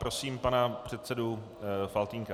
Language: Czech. Prosím pana předsedu Faltýnka.